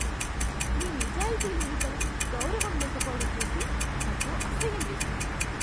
నీ నిజాయితీ లేనితనం, గౌరవం లేకపోవడం చూసి నాకు అసహ్యం వేసింది.